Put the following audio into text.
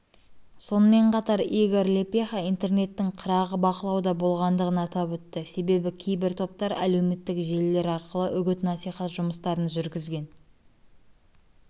сонымен қатар игор лепеха интернеттің қырағы бақылауда болғандығын атап өтті себебі кейбір топтар әлеуметтік желілер арқылы үгіт-насихат жұмыстарын жүргізген